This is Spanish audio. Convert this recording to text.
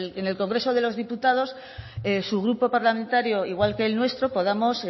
en el congreso de los diputados su grupo parlamentario igual que el nuestro podamos